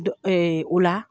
O la